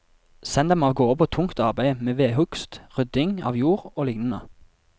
Send dem av gårde på tungt arbeid med vedhugst, rydding av jord og lignende.